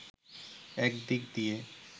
এক দিক দিয়ে